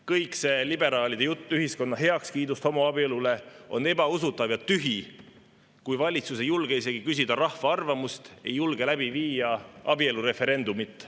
Kõik see liberaalide jutt ühiskonna heakskiidust homoabielule on ebausutav ja tühi, kui valitsus ei julge isegi küsida rahva arvamust, ei julge läbi viia abielureferendumit.